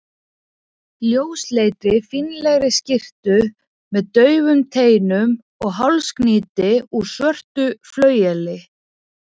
ljósleitri, fínlegri skyrtu með daufum teinum og hálsknýti úr svörtu flaueli.